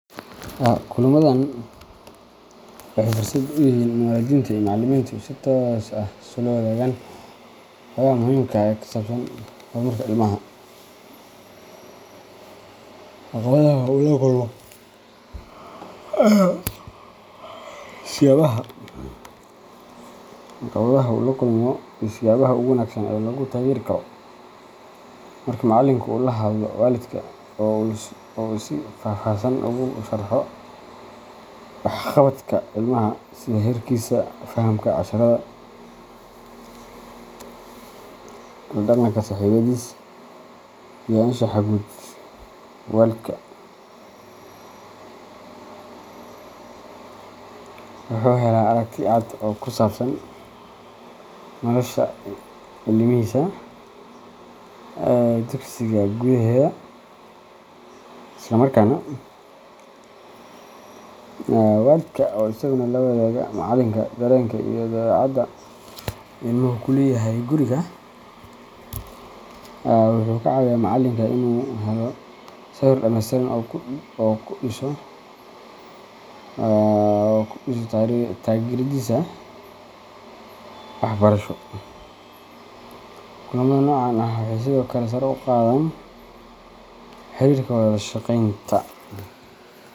Haa ,Kulamadan waxay fursad u yihiin in waalidiinta iyo macallimiintu si toos ah isula wadaagaan xogaha muhiimka ah ee ku saabsan horumarka ilmaha, caqabadaha uu la kulmo, iyo siyaabaha ugu wanaagsan ee lagu taageeri karo. Marka macallinka uu la hadlo waalidka oo uu si faahfaahsan ugu sharxo waxqabadka ilmaha sida heerkiisa fahamka casharrada, la dhaqanka saaxiibbadiis, iyo anshaxa guud waalidka wuxuu helaa aragti cad oo ku saabsan nolosha ilmihiisa ee dugsiga gudaheeda. Isla markaasna, waalidka oo isaguna la wadaaga macallinka dareenka iyo dabeecadaha ilmuhu ku leeyahay guriga, wuxuu ka caawiyaa macallinka inuu helo sawir dhameystiran oo uu ku dhiso taageeradiisa waxbarasho. Kulamada noocan ah waxay sidoo kale sare u qaadaan xiriirka iyo wada shaqaynta.